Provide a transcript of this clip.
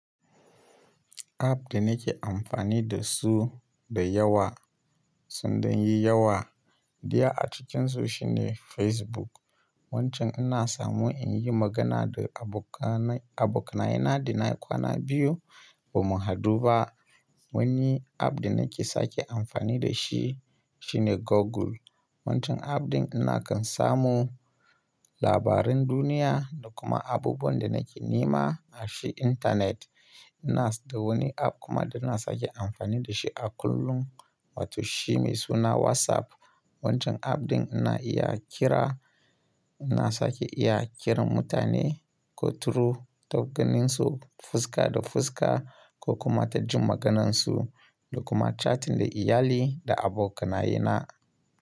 App da nake amfani da su da yawa sun ɗan yi yawa. Ɗaya a cikinsu shine Facebook. Wancan ina samu in yi magana da abokanai abokai na da nayi kwana biyu ba mu haɗu ba. Wani app da nake sake amfani da shi shine Google. Wancan app ɗin ina kan samu labaran duniya da kuma abubuwan da nake nema a shi intanet. Ina dawani app kuma da ina sake amfani da shi a kullum. Wato shi mai suna WhatsApp. Wancan app ɗin ina iya kira, ina sake iya kiran mutane ko turo ta ganin su fuska da fuska ko kuma ta jin maganansu da kuma catin da iyali da abokai na.